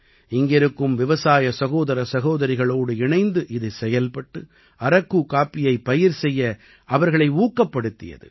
இங்கிருக்கும் விவசாய சகோதர சகோதரிகளோடு இணைந்து இது செயல்பட்டு அரக்கு காப்பியைப் பயிர் செய்ய அவர்களை ஊக்கப்படுத்தியது